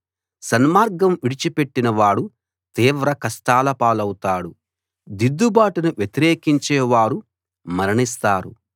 సన్మార్గం విడిచిపెట్టిన వాడు తీవ్ర కష్టాలపాలౌతాడు దిద్దుబాటును వ్యతిరేకించే వారు మరణిస్తారు